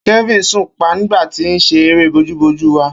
Kelvin sùn pa nigba ti se ere boju-boju wá.